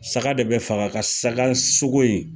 Saga de bɛ faga ka saga sogo in